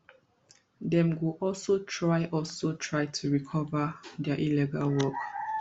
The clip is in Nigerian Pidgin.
dem go also try also try to cover dia illegal work